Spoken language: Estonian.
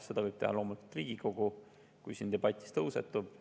Seda võib teha loomulikult Riigikogu, kui siin debatis see tõusetub.